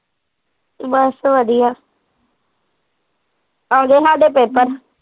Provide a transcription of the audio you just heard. ਬਸ ਵਧੀਆ ਆਗੇ ਸਾਡੇ ਪੇਪਰ